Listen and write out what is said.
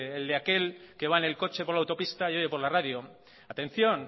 del de aquel que va en el coche que va por la autopista y oye por la radio atención